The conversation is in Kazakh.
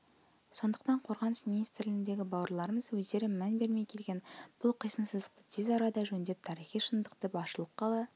сондықтан қазақстан қорғаныс министрлігіндегі бауырларымыз өздері мән бермей келген бұл қисынсыздықты тез арада жөндеп тарихи шындықты басшылыққа ала